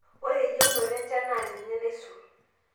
ore eyieunoto enchan naa ninye naisul